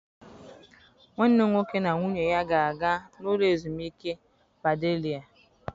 Nwanne m nwoke na nwunye ya ga-aga n'ụlọ ezumike Padelia.